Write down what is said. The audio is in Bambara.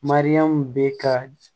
Mariyamu be ka